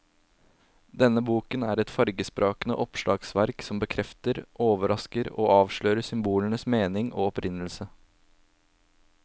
Denne boken er et fargesprakende oppslagsverk som bekrefter, overrasker og avslører symbolenes mening og opprinnelse.